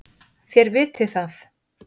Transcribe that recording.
Þér vitið það.